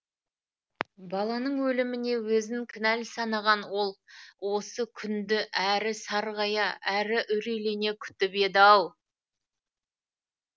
баланың өліміне өзін кінәлі санаған ол осы күнді әрі сарғая әрі үрейлене күтіп еді ау